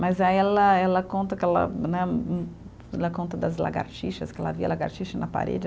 Mas aí ela, ela conta que ela né, ela conta das lagartixas, que ela via lagartixa na parede.